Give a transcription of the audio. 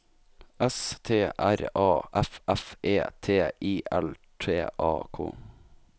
S T R A F F E T I L T A K